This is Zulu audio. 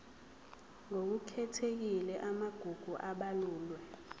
ngokukhethekile amagugu abalulwe